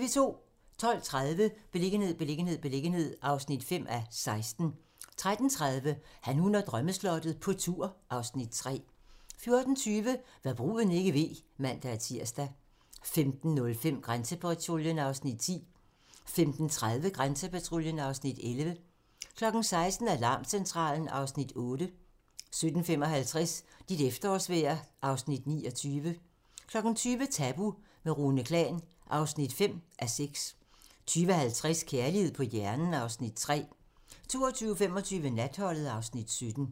12:30: Beliggenhed, beliggenhed, beliggenhed (5:16) 13:30: Han, hun og drømmeslottet - på tur (Afs. 3) 14:20: Hva' bruden ikke ved (man-tir) 15:05: Grænsepatruljen (Afs. 10) 15:30: Grænsepatruljen (Afs. 11) 16:00: Alarmcentralen (Afs. 8) 17:55: Dit efterårsvejr (Afs. 29) 20:00: Tabu - med Rune Klan (5:6) 20:50: Kærlighed på hjernen (Afs. 3) 22:25: Natholdet (Afs. 17)